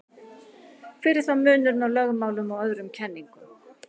hver er þá munurinn á lögmálum og öðrum kenningum